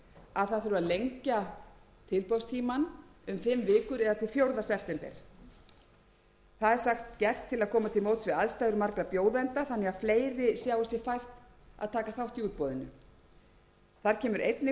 að lengja tilboðstímann um fimm vikur eða til fjórða september það er sagt gert til að koma til móts við aðstæður margra bjóðenda þannig að fleiri sjái sér fært að taka þátt í útboðinu þar kemur einnig fram að stjórn fjarskiptasjóðs telji það skipta höfuðmáli með tilliti